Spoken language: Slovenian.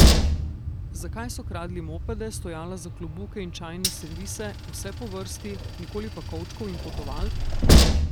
Zakaj so kradli mopede, stojala za klobuke in čajne servise, vse po vrsti, nikoli pa kovčkov in potovalk?